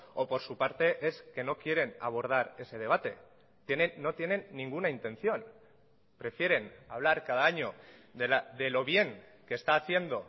o por su parte es que no quieren abordar ese debate no tienen ninguna intención prefieren hablar cada año de lo bien que está haciendo